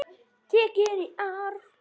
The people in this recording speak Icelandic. Tekin í arf.